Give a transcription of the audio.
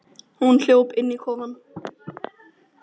Hún hljóp inn í kofann.